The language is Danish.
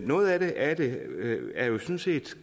noget af det er jo sådan set